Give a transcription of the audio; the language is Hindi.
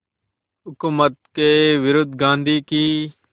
हुकूमत के विरुद्ध गांधी की